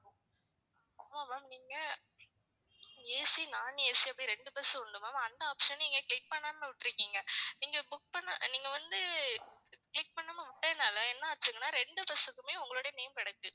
ஆமா ma'am நீங்க AC non AC அப்படின்னு ரெண்டு bus உண்டு ma'am அந்த option அ நீங்க click பண்ணாம விட்டுருக்கீங்க. நீங்க book பண்ண நீங்க வந்து click பண்ணாம விட்டதனால என்ன ஆச்சுங்கன்னா ரெண்டு bus க்குமே உங்களுடைய name கிடக்கு